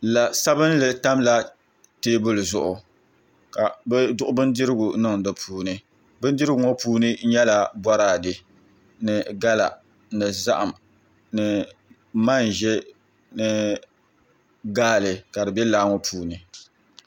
La sabinli tamla teebuli zuɣu ka bi duɣu bindirigu niŋ di puuni bindirigu ŋo puuni nyɛla boraadɛ ni gala ni zaham ni manʒɛ ni gaali ka di bɛ laa ŋo puuni